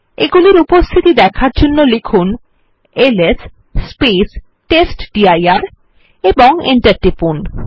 এইগুলির উপস্থিতি দেখার জন্য লিখুন এলএস টেস্টডির এবং Enter টিপুন